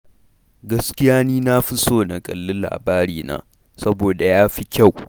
Gaskiya ni na fi son na kalli Labarina, saboda ya fi kyau.